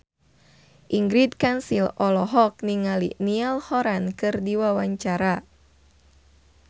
Ingrid Kansil olohok ningali Niall Horran keur diwawancara